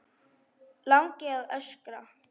Langi að öskra.